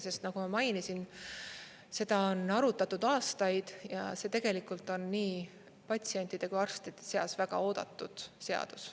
Sest nagu ma mainisin, seda on arutatud aastaid ja see tegelikult on nii patsientide kui arstide seas väga oodatud seadus.